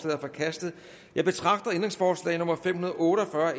er forkastet jeg betragter ændringsforslag nummer fem hundrede og otte og fyrre